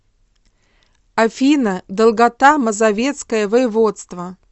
афина долгота мазовецкое воеводство